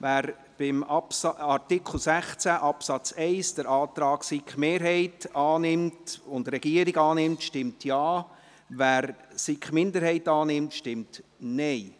Wer beim Artikel 16 Absatz 1 den Antrag der SiK-Mehrheit und des Regierungsrates annimmt, stimmt Ja, wer den Antrag der SiK-Minderheit annimmt, stimmt Nein.